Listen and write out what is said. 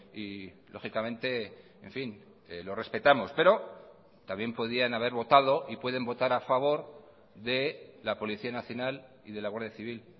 y lógicamente en fin lo respetamos pero también podían haber votado y pueden votar a favor de la policía nacional y de la guardia civil